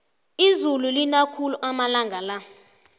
izulu lina khulu amalanga la